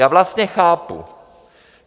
Já vlastně chápu.